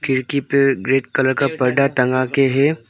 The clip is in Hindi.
खिड़की पर ग्रे कलर का पर्दा टँगा के है।